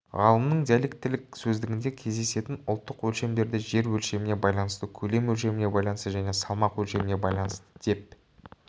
ғалымның диалектіліктілік сөздігінде кездесетін ұлттық өлшемдерді жер өлшеміне байланысты көлем өлшеміне байланысты және салмақ өлшеміне байланысты деп